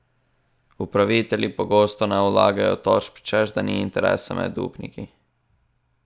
Upravitelji pogosto ne vlagajo tožb, češ da ni interesa med upniki.